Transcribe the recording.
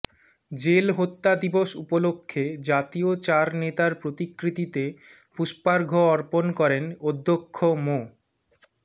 jail হত্যা দিবস উপলক্ষে জাতীয় চার নেতার প্রতিকৃতিতে পুষ্পার্ঘ অর্পণ করেন অধ্যক্ষ মো